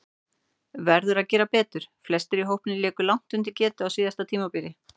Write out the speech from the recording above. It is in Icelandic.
Verður að gera betur: Flestir í hópnum léku langt undir getu á síðasta tímabili.